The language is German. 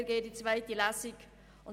Wir gehen noch in die zweite Lesung.